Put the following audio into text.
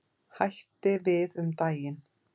Hætti við um daginn.